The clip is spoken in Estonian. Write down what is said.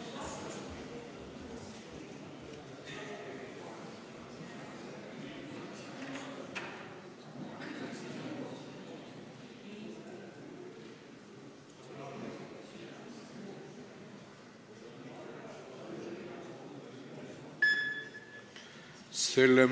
Hääletustulemused Selle